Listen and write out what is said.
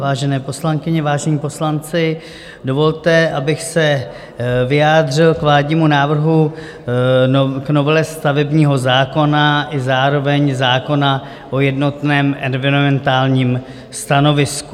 Vážené poslankyně, vážení poslanci, dovolte, abych se vyjádřil k vládnímu návrhu, k novele stavebního zákona i zároveň zákona o jednotném environmentálním stanovisku.